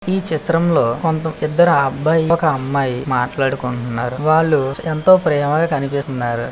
ఈ చిత్రంలో కొంత ఇద్దరు అబ్బాయి ఒక అమ్మాయి మాట్లాడుకుంటున్నారు --